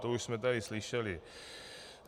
To už jsme tady slyšeli.